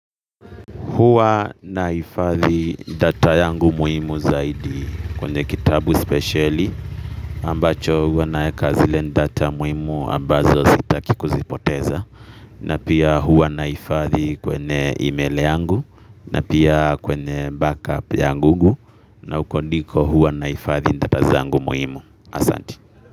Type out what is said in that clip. Huwa nahifathi data yangu muhimu zaidi kwenye kitabu spesheli ambacho huwa naeka zile data muhimu ambazo sitaki kuzipoteza. Na pia huwa nahifathi kwenye email yangu na pia kwenye backup ya Google na huko ndiko huwa nahifathi data zangu muhimu. Asanti.